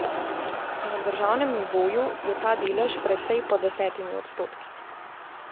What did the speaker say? Na državnem nivoju je ta delež precej pod desetimi odstotki.